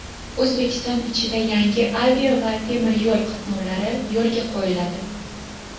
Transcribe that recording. O‘zbekiston ichida yangi avia va temiryo‘l qatnovlari yo‘lga qo‘yiladi.